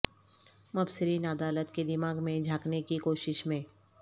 مبصرین عدالت کے دماغ میں جھانکنے کی کوشش میں